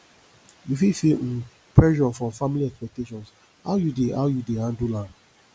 you fit feel um pressure from family expectations how you dey how you dey handle am